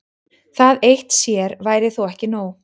Það eitt sér væri þó ekki nóg.